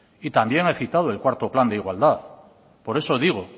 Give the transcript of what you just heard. y también he citado el cuarto plan de igualdad por eso digo